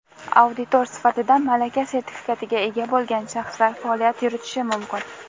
Auditor sifatida malaka sertifikatiga ega bo‘lgan shaxslar faoliyat yuritishi mumkin.